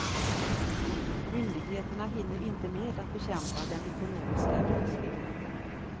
Myndigheterna hinner inte med att bekämpa den ekonomiska brottsligheten.